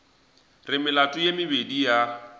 re melato ye mebedi ya